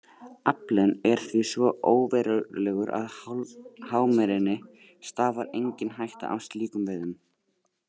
Aflinn er því svo óverulegur að hámerinni stafar engin hætta af slíkum veiðum.